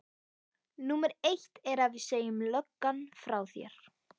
Númer eitt er að við segjum löggan frá þér.